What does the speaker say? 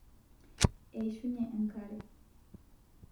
eishunye enkare